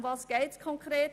Worum geht es konkret?